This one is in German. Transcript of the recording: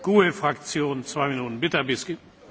Herr Präsident, liebe Kolleginnen und Kollegen!